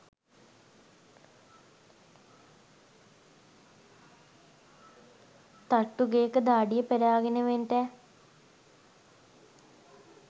තට්ටු ගේක දාඩිය පෙරාගෙන වෙන්ටෑ